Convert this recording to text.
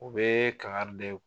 U bɛ kangare da